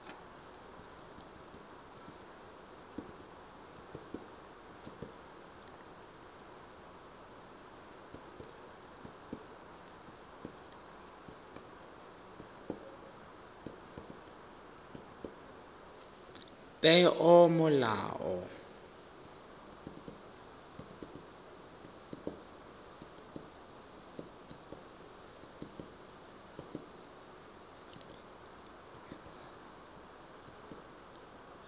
peomolao